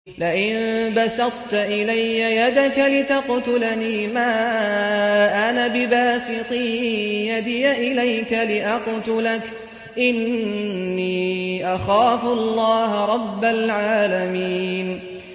لَئِن بَسَطتَ إِلَيَّ يَدَكَ لِتَقْتُلَنِي مَا أَنَا بِبَاسِطٍ يَدِيَ إِلَيْكَ لِأَقْتُلَكَ ۖ إِنِّي أَخَافُ اللَّهَ رَبَّ الْعَالَمِينَ